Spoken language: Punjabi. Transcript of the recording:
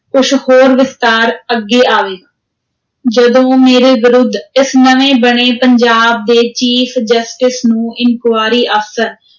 ਕੁਛ ਹੋਰ ਵਿਸਤਾਰ ਅੱਗੇ ਆਵੇ, ਜਦੋਂ ਮੇਰੇ ਵਿਰੁੱਧ ਇਸ ਨਵੇਂ ਬਣੇ ਪੰਜਾਬ ਦੇ chief justice ਨੂੰ enquiry ਅਫ਼ਸਰ